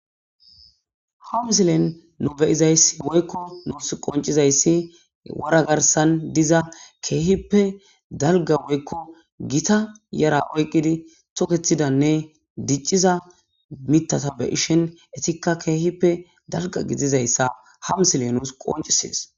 ham silen nu beyizay woykko nuus qoncizayssi wara garsan diza keehippe dalga woykko gita yara oyqqidi tokethidanne dicciza mitata be ishen etikka keehippe dalga gidizayssa hamusile nuus qoncisees